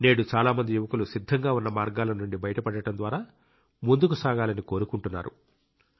నేడు చాలా మంది యువకులు సిద్ధంగా ఉన్న మార్గాల నుండి బయటపడటం ద్వారా ముందుకు సాగాలని కోరుకుంటున్నారు